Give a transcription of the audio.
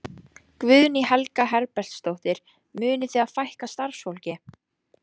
Guðný Helga Herbertsdóttir: Munið þið fækka starfsfólki?